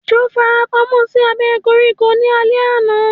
Ejò farapamọ́ sí abẹ́ koríko ní alé àná